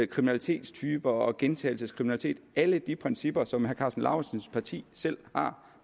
kriminalitetstyper og gentagelseskriminalitet alle de principper som herre karsten lauritzens parti selv har